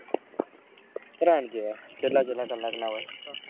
ત્રણ કેવા કેટલા કેટલા કલાક ના હોય.